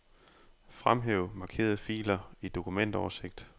Fremhæv markerede filer i dokumentoversigt.